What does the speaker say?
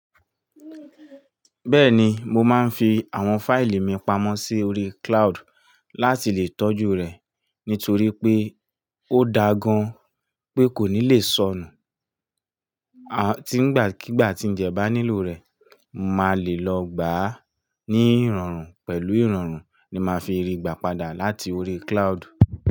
Bẹ́ẹ̀ni mo máa ń fi áwon file mi pamó sí oríi cloud láti lè tọ́jú rẹ̀ ní torí pé ó dáa gan pé kòní lè sọnù À tí ń gba kígbà tí ń jẹ bá nílò rẹ̀, màá lè lọ gbà á ní ìrọ̀rùn pẹ̀lú ìrọ̀rùn ni màá fi ríi gbà padà láti orí cloud.